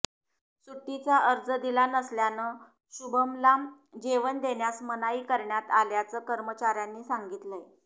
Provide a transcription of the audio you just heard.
सुट्टीचा अर्ज दिला नसल्यानं शुभमला जेवण देण्यास मनाई करण्यात आल्याचं कर्मचाऱ्यांनी सांगितलंय